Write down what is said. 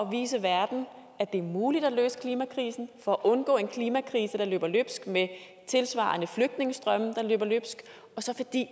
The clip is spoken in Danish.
vise verden at det er muligt at løse klimakrisen for at undgå en klimakrise der løber løbsk med tilsvarende flygtningestrømme der løber løbsk og så fordi